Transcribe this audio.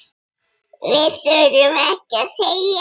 Við þurftum ekkert að segja.